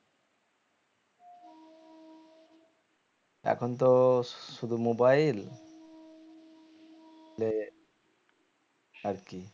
এখন তো শুধু mobile আর কি